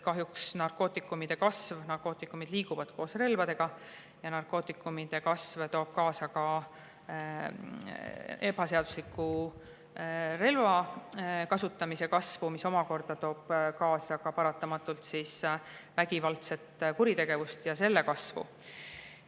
Kahjuks liiguvad narkootikumid koos relvadega ja narkootikumide kasv toob kaasa ka ebaseadusliku relva kasutamise kasvu, mis omakorda toob paratamatult kaasa vägivaldse kuritegevuse ja selle kasvu.